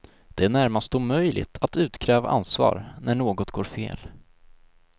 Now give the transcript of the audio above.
Det är närmast omöjligt att utkräva ansvar, när något går fel.